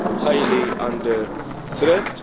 highly under threat.